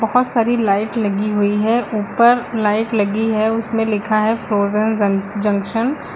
बहुत सारी लाइट लगी हुई है ऊपर लाइट लगी है उसमें लिखा है फ्रोजन जंक जंक्शन ।